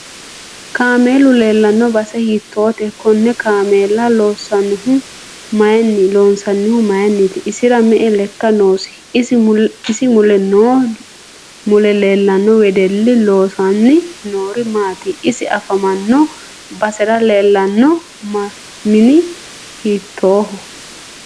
Kaamelu leelanno base hiitoote konne kaameela loonsoonihu mayiiniiti isira me'e lekka noosi isi mule leelanno wedelli loosani noori maati isi afamanno basera leelanno mini hiitooho